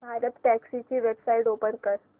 भारतटॅक्सी ची website open कर